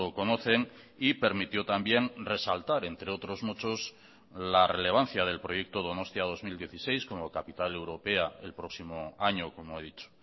conocen y permitió también resaltar entre otros muchos la relevancia del proyecto donostia dos mil dieciséis como capital europea el próximo año como he dicho